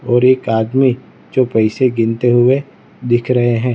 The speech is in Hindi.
और एक आदमी जो पैसे गिनते हुए दिख रहे हैं।